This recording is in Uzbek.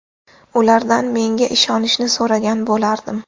Ulardan menga ishonishni so‘ragan bo‘lardim.